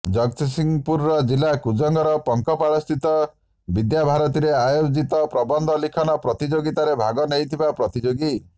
ଜଗତସିଂହପୁର ଜିଲା କୁଜଙ୍ଗର ପଙ୍କପାଳସ୍ଥିତ ବିଦ୍ୟାଭାରତୀରେ ଆୟୋଜିତ ପ୍ରବନ୍ଧ ଲିଖନ ପ୍ରତିଯୋଗିତାରେ ଭାଗନେଇଥିବା ପ୍ରତିଯୋଗୀ